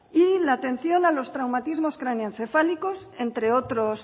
y la atención a los traumatismos craneoencefálicos entre otros